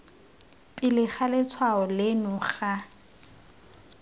pele ga letshwao leno ga